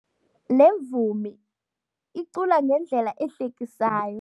Le mvumi icula ngendlela ehlekisayo.